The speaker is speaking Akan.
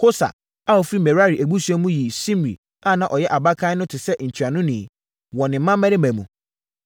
Hosa a ɔfiri Merari abusua mu yii Simri a na ɔnyɛ abakan no sɛ ntuanoni, wɔ ne mmammarima mu.